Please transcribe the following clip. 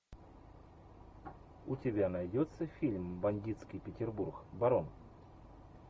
у тебя найдется фильм бандитский петербург барон